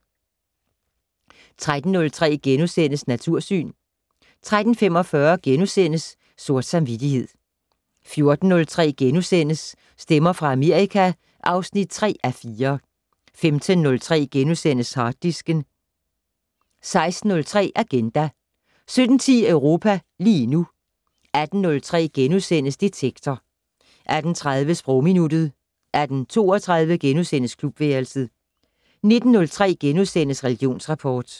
13:03: Natursyn * 13:45: Sort samvittighed * 14:03: Stemmer fra Amerika (3:4)* 15:03: Harddisken * 16:03: Agenda 17:10: Europa lige nu 18:03: Detektor * 18:30: Sprogminuttet 18:32: Klubværelset * 19:03: Religionsrapport *